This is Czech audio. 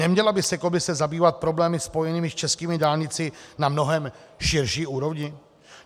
Neměla by se komise zabývat problémy spojené s českými dálnicemi na mnohem širší úrovni?